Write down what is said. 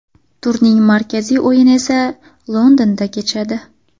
Turning markaziy o‘yini esa Londonda kechadi.